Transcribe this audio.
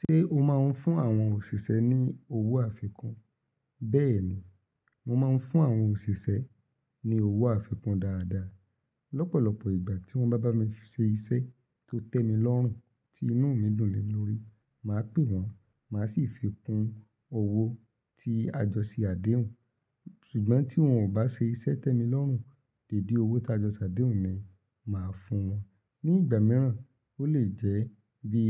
Ṣé o máa ń fún àwọn òṣìṣẹ́ ní owó àfikún? Bẹ́ẹ̀ ni, mo máa ń fún àwọn òṣìṣẹ́ ní owó àfikún dáadáa. Lọ́pọ̀lọpọ̀ ìgbà tí wọ́n bá bá mi ṣe iṣẹ́ tó tẹ́ mi lọ́rùn, tí inú mi dùn lénu lórí, màá pè wọ́n, màá sì fi kún owó tí a jọ ṣe àdéhùn. Ṣùgbọ́n tí wọn ò bá ṣe iṣẹ́ tẹ́ mi lọ́rùn, lèdí owó tí a jọ ṣe àdéhùn ni màá fún wọn. Ní ìgbà mìíràn, ó lè jẹ́ bí